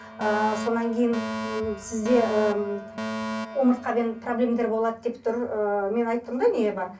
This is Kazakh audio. ыыы содан кейін м сізде ыыы омыртқамен болады деп тұр ыыы мен айтып тұрмын да не бар